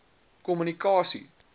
kommunikasie